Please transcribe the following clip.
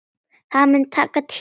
Það mun taka tíma.